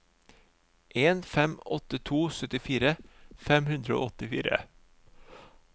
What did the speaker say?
en fem åtte to syttifire fem hundre og åttifire